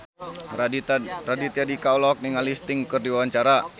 Raditya Dika olohok ningali Sting keur diwawancara